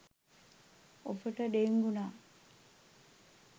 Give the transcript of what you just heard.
ඔබට ඩෙංගු නම්